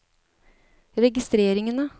registreringene